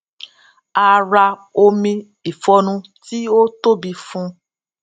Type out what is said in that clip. a ra omi ìfọnu tí ó tóbi fún